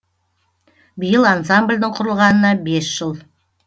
биыл ансамблдің құрылғанына бес жыл